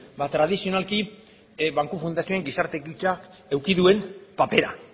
ba tradizionalki banku fundazioaren gizarte ekintzak eduki duen papera